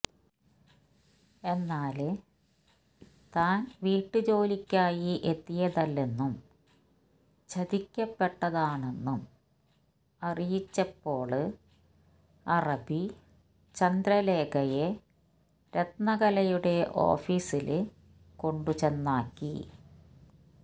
എന്നാല് താന് വീട്ടുജോലിക്കായി എത്തിയതല്ലെന്നും ചതിക്കപ്പെട്ടതാണെന്നും അറിയിച്ചപ്പോള് അറബി ചന്ദ്രലേഖയെ രത്നകലയുടെ ഓഫീസില് കൊണ്ടുചെന്നാക്കി